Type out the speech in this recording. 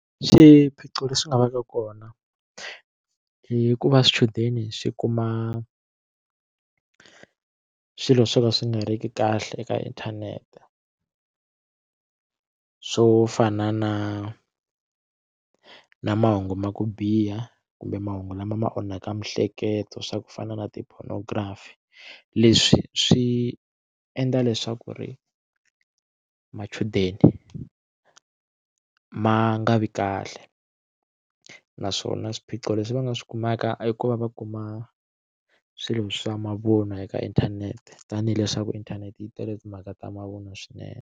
Swiphiqo leswi nga va ka kona hikuva swichudeni swi kuma swilo swo ka swi nga ri ki kahle eka inthanete swo fana na na mahungu ma ku biha kumbe mahungu lama ma onhaka miehleketo swa ku fana na ti pornography leswi swi endla leswaku ri machudeni ma nga vi kahle naswona swiphiqo leswi va nga swi kumeka i ku va va kuma swilo swa mavunwa eka inthanete tanihi leswaku inthanete yi tele timhaka ta mavunwa swinene.